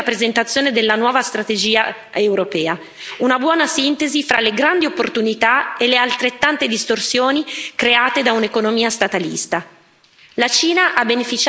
Accogliamo quindi con favore la presentazione della nuova strategia europea, una buona sintesi fra le grandi opportunità e le altrettante distorsioni create da un'economia statalista.